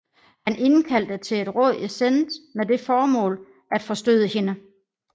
Han indkaldte til et råd i Sens med det formål at forstøde hende